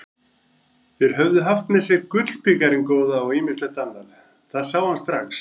Þeir höfðu haft með sér gullbikarinn góða og ýmislegt annað, það sá hann strax.